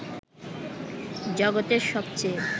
জগতের সবচেয়ে